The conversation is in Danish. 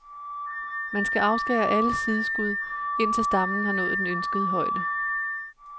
Man skal afskære alle sideskud, indtil stammen har nået den ønskede højde.